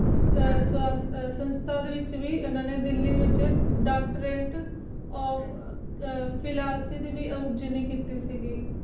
ਸੰਸਤਾ ਦੇ ਵਿਚ ਭੀ ਉਨ੍ਹਾਂ ਨੇ ਦਿੱਲੀ ਵਿਚ doctorate of philosophy ਦੀ ਡਿਗਰੀ ਭੀ ਕਿੱਤੀ ਸੀ